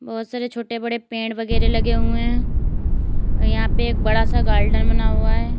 बहोत सारे छोटे बड़े पेड़ वगैरा लगे हुए हैं यहां पे एक बड़ा सा गार्डन बना हुआ है।